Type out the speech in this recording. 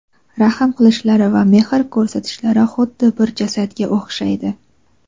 rahm qilishlari va mehr ko‘rsatishlari xuddi bir jasadga o‘xshaydi.